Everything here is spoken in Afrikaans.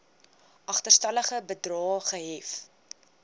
agterstallige bedrae gehef